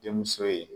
Denmuso ye